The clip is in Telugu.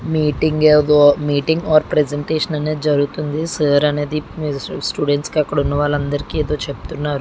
మీటింగ్ ఎబో మీటింగ్ ఆర్ ప్రజెంటేషన్ అనేది జరుగుతుంది. సో సర్ అనేది స్టూడెంట్స్ అక్కడ ఉన్న వాళ్ళందరికీ చెబుతున్నారు.